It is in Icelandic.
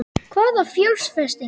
Hvaða fjárfestingu?